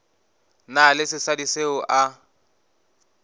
na le sesadi seo a